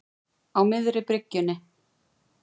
Á miðri bryggjunni.